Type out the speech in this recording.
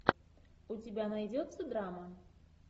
у тебя найдется драма